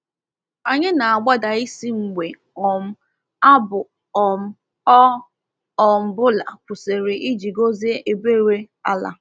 Anyị na-agbada isi mgbe um abụ um ọ um bụla kwụsịrị iji gọzie ebere ala.